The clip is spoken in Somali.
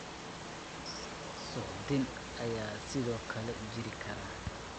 Suuxdin ayaa sidoo kale jiri kara.